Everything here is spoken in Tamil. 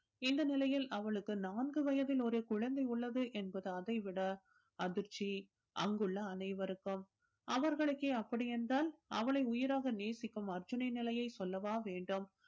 இந்த நிலையில் அவளுக்கு நான்கு வயதில் ஒரு குழந்தை உள்ளது என்பது அதை விட அதிர்ச்சி அங்குள்ள அனைவருக்கும் அவர்களுக்கே அப்படி என்றால் அவளை உயிராக நேசிக்கும் அர்ஜூனின் நிலையை சொல்லவா வேண்டும்